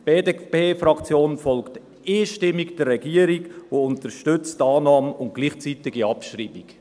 Die BDPFraktion folgt einstimmig der Regierung und unterstützt die Annahme und die gleichzeitige Abschreibung.